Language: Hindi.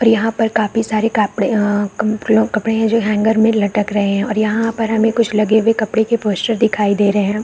और यहाँ पर काफी सारे कापड़े अ मं कपड़े हैं जो हैंगर्स में लगे हुए लटक रहै हैं और यहाँ पर हमें कुछ लगे हुए कपड़े के पोस्टर्स दिखाई दे रहै हैं।